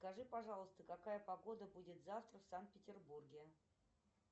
скажи пожалуйста какая погода будет завтра в санкт петербурге